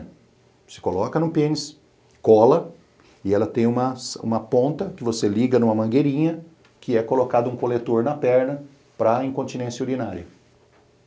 Você coloca no pênis, cola e ela tem uma ponta que você liga numa mangueirinha que é colocado um coletor na perna para incontinência urinária.